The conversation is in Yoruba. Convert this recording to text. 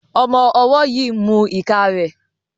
Ọmọ ọwó yí mú ika rẹ